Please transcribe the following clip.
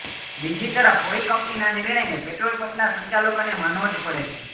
બીજી તરફ ઓઇલ કંપનીના નિર્ણયને પેટ્રોલ પંપના સંચાલકોને માનવો જ પડે છે